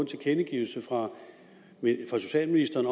tilkendegivelse fra socialministeren